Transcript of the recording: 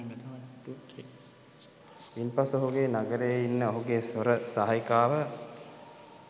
ඉන්පසු ඔහුගේ නගරයේ ඉන්න ඔහුගේ සොර සහායිකාව